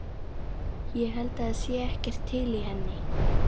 Ég held það sé ekkert til í henni.